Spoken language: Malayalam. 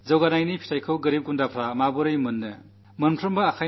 വികസനത്തിന്റെ ഗുണം ദരിദ്രരിൽ ദരിദ്രരായവർക്ക് എങ്ങനെ കിട്ടാനാകും